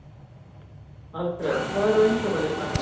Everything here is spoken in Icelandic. Alfred, hvað er á innkaupalistanum mínum?